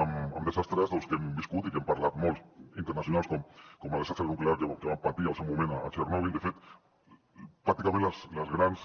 amb desastres doncs que hem viscut i que n’hem parlat molts d’internacionals com el desastre nuclear que van patir al seu moment a txernòbil de fet pràcticament les grans